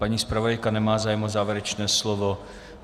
Paní zpravodajka nemá zájem o závěrečné slovo.